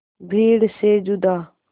भीड़ से जुदा